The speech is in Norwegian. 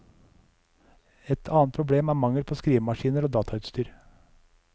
Et annet problem er mangel på skrivemaskiner og datautstyr.